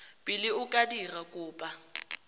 pele o ka dira kopo